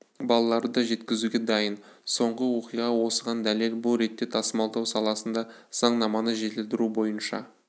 балаларды да жеткізуге дайын соңғы оқиға осыған дәлел бұл ретте тасымалдау саласында заңнаманы жетілдіру бойынша